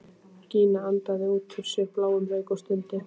Gína andaði út úr sér bláum reyk og stundi.